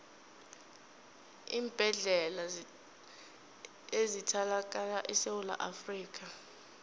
iimbedlela ezithalakala esewula afrikha